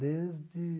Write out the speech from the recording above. Desde